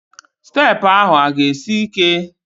Steepụ ahụ a ga-esi ike?